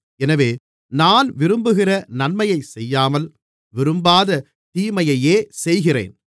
எனவே நான் விரும்புகிற நன்மையைச் செய்யாமல் விரும்பாத தீமையையே செய்கிறேன்